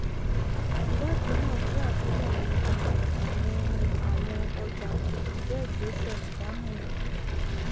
ìwádìí náà jé àtúnyèwò um àwọn àwọn ọjà kò sì jẹ ìgbésẹ ìdámọràn